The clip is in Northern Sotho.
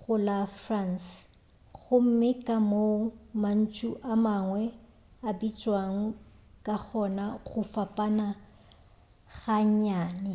go la france gomme ka moo mantšu a mangwe a bitšwago ka gona go fapana ga nnyane